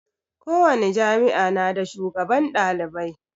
Ko wani jami'a na da shugaban ɗalibai